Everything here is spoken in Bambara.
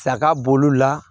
Saga bo olu la